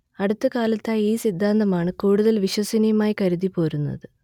അടുത്ത കാലത്തായി ഈ സിദ്ധാന്തമാണ് കൂടുതൽ വിശ്വസനീയമായി കരുതിപ്പോരുന്നത്